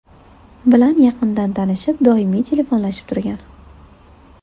bilan yaqindan tanishib, doimiy telefonlashib turgan.